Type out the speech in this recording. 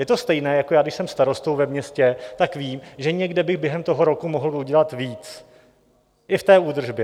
Je to stejné jako já, když jsem starostou ve městě, tak vím, že někde bych během toho roku mohl udělat víc, i v té údržbě.